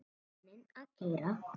Vagninn að keyra.